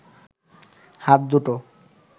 হাত দুটো